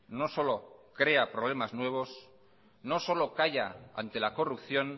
no solo crea problemas nuevos no solo calla ante la corrupción